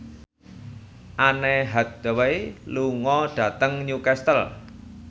Anne Hathaway lunga dhateng Newcastle